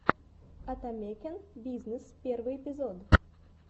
атамекен бизнес первый эпизод